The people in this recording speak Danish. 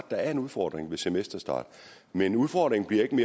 der er en udfordring ved semesterstart men udfordringen bliver ikke